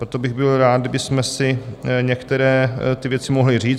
Proto bych byl rád, kdybychom si některé ty věci mohli říct.